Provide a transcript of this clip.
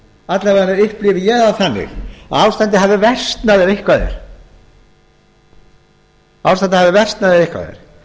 alla vega upplifi ég það þannig að ástandið hafi versnað ef eitthvað er